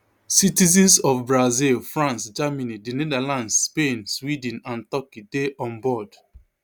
citizens of brazil france germany the netherlands spain sweden and turkey dey onboard